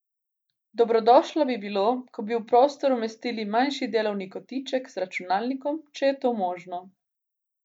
Dobrodošlo bi bilo, ko bi v prostor umestili manjši delovni kotiček z računalnikom, če je to možno.